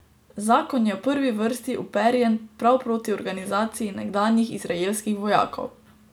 Zakon je v prvi vrsti uperjen prav proti organizaciji nekdanjih izraelskih vojakov.